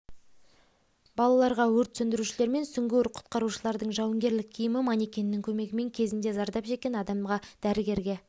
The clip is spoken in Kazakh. балаларға өрт сөндірушілер мен сүңгуір құтқарушылардың жауынгерлік киімі манекеннің көмегімен кезінде зардап шеккен адамға дәрігерге